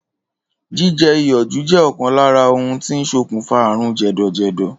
Jíje̩ iyò̩ jù jé̩ ò̩kan lára ohun tó ń sokùnfà àrùn jè̩dò̩jè̩dò̩.